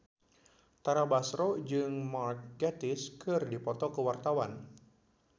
Tara Basro jeung Mark Gatiss keur dipoto ku wartawan